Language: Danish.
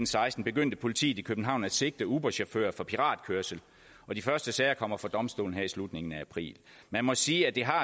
seksten begyndte politiet i københavn at sigte uberchauffører for piratkørsel og de første sager kommer for domstolene her i slutningen af april man må sige at det har